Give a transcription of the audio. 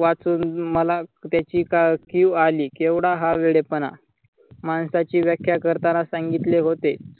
वाचून मला त्याची कीव अली केवढा हा वेढेपना माणसाची व्याख्या करताना सांगितले होते.